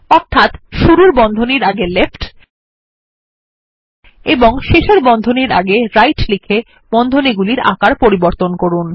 অর্থাৎ শুরুর বন্ধনীর আগে লেফ্ট এবং শেষের বন্ধনীর আগে রাইট লিখে বন্ধনী গুলির আকার পরিবর্তন করুন